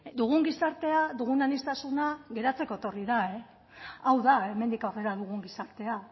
dugun gizartea dugun aniztasuna geratzeko etorri da hau da hemendik aurrera dugun gizartea